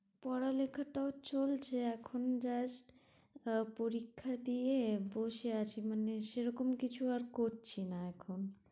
পড়ালেখা টাও চলছে এখন just আহ পরীক্ষা দিয়ে বসে আছি মানে সেরকম কিছু আর করছি না এখন